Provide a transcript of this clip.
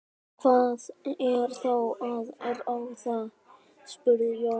Hvað er þá til ráða? spurði Jón.